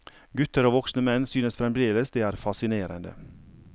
Gutter og voksne menn synes fremdeles det er fascinerende.